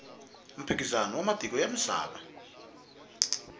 mphikizano wa matiko ya misava